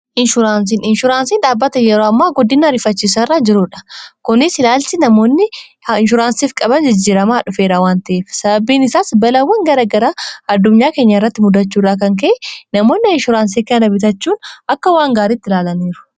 inshuraansii ,inshuuraansii dhaabata yeroo ammaa guddina ariifachisa irra jiruudha. kunis ilaalchi namoonni inshuuraansiif qaban jijjiramaa dhufeera wan ta'ef sababbiin isaas balaawwan garagaraa addunyaa keenya irratti muddachuu irraa kan ka'e namoonni inshuraansii kana bitachuun akka waan gaariitti ilaalaniiru.